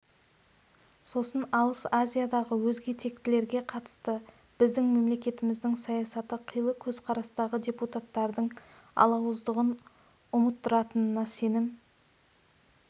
сосын алыс азиядағы өзге тектілерге қатысты біздің мемлекетіміздің саясаты қилы көзқарастағы депутаттардың алауыздығын ұмыттыратынына сенім